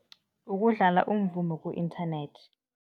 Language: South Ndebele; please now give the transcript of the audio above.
Ukudlala umvumo ku-internet.